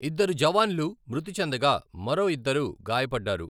ఇద్దరు జవాన్లు మృతి చెందగా మరో ఇద్దరు గాయపడ్డారు.